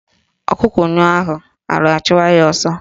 Ọkụkọ nyụọ ahụ ala achụwa ya ọsọ